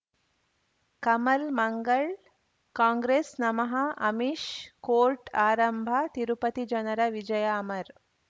ಕಮಲ್ ಮಂಗಳ್ ಕಾಂಗ್ರೆಸ್ ನಮಃ ಅಮಿಷ್ ಕೋರ್ಟ್ ಆರಂಭ ತಿರುಪತಿ ಜನರ ವಿಜಯ ಅಮರ್